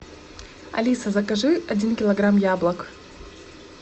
алиса закажи один килограмм яблок